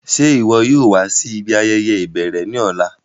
Ṣe iwọ yóò wa si ibi ayẹyẹ ibẹrẹ ni ọla?